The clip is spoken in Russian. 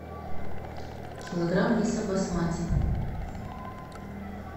килограмм риса басмати